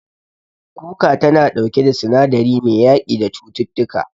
Kuka tana ɗauke da sinadari mai yaƙi da cututtuka.